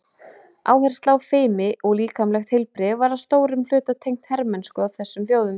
Áhersla á fimi og líkamlegt heilbrigði var að stórum hluta tengt hermennsku hjá þessum þjóðum.